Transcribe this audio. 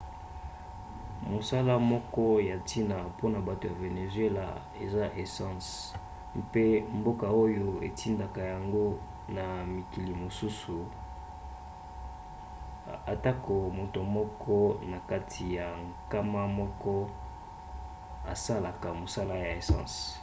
mosala moko ya ntina mpona bato ya venezuela eza essence mpe mboka oyo etindaka yango na mikili mosusu atako moto moko na kati ya nkama moko asalaka mosala ya essence